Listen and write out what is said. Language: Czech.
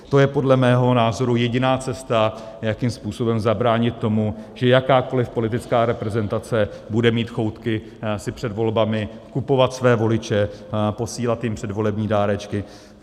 To je podle mého názoru jediná cesta, jakým způsobem zabránit tomu, že jakákoliv politická reprezentace bude mít choutky si před volbami kupovat své voliče, posílat jim předvolební dárečky.